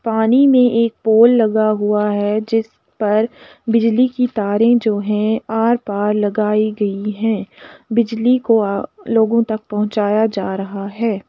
पानी में एक पोल लगा हुआ है। जिस पर बिजली के तारे जो हैं आर पार लगाई गई हैं। बिजली को लोगों तक पहुंचाया जा रहा है।